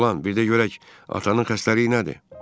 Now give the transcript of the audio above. Oğlan, bir də görək atanın xəstəliyi nədir?